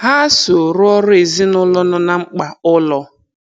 Ha so rụọrọ ezinụụlọ no na mkpa ụlọ.